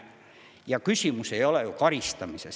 Ja küsimus ei ole ju karistamises.